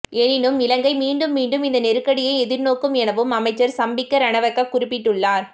எனினும் இலங்கை மீண்டும் மீண்டும் இந்த நெருக்கடியை எதிர்நோக்கும் எனவும் அமைச்சர் சம்பிக்க ரணவக்க குறிப்பிட்டுள்ளார்